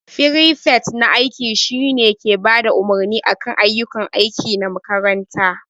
Firifet na aiki shine ke Bada umarni akan ayyukan aiki na makaranta.